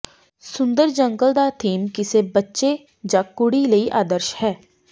ਸੁੰਦਰ ਜੰਗਲ ਦਾ ਥੀਮ ਕਿਸੇ ਬੱਚੇ ਜਾਂ ਕੁੜੀ ਲਈ ਆਦਰਸ਼ ਹੈ